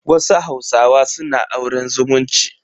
Wasu hausawa suna auren zumunci.